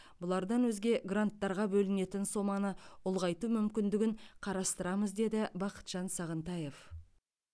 бұлардан өзге гранттарға бөлінетін соманы ұлғайту мүмкіндігін қарастырамыз деді бақытжан сағынтаев